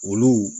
Olu